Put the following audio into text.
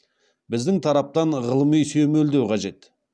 біздің тараптан ғылыми сүйемелдеу қажет